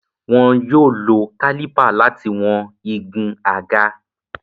Wọn yóò lo kálípà láti wọn igun àga.